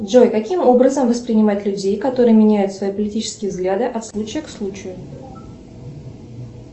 джой каким образом воспринимать людей которые меняют свои политические взгляды от случая к случаю